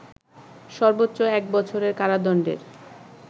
সর্বোচ্চ এক বছরের কারাদণ্ডের